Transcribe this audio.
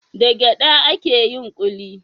Da gyada ake yin kuli?